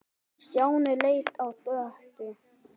Stjáni leit á Döddu.